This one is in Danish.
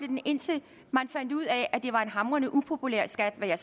den indtil man fandt ud af at det var en hamrende upopulær skat hvad jeg